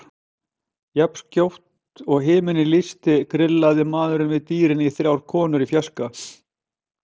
Jafnskjótt og himinninn lýstist grillti maðurinn við dýrin í þrjár konur í fjarskanum.